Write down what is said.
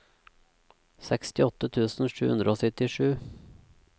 sekstiåtte tusen sju hundre og syttisju